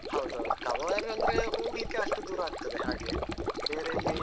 ಹೌದೌದು cover ಅಂದ್ರೆ ಹೋಗ್ಲಿಕ್ಕೆ ಅಷ್ಟು ದೂರ ಆಗ್ತದೆ ಹಾಗೆ ಬೇರೆ ಎಲ್ಲಿ